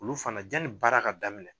Olu fana janni baara ka daminɛ